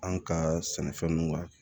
An ka sɛnɛfɛnnu kan